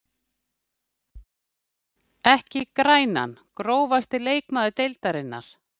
Ekki grænan Grófasti leikmaður deildarinnar?